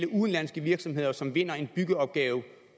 udenlandske virksomheder som vinder en byggeopgave